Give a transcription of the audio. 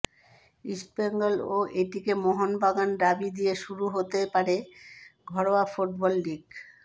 East Bengal ও ATK Mohun Bagan derby দিয়ে শুরু হতে পারে ঘরোয়া ফুটবল লিগ